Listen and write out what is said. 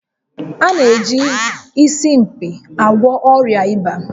A na-eji Isimkpi agwọ ọrịa ịba